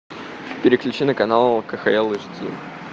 переключи на канал кхл эйч ди